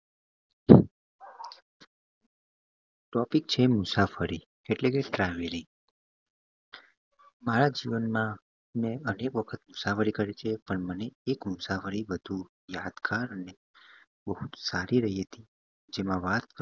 Topic છે મુસાફરી એટલે કે travelling મારા જીવન માં મેં અનેક વખત મુસાફરી કરી છે પણ મને એક મુસાફરી વધું યાદગાર અને બહુ જ સારી રહી હતી.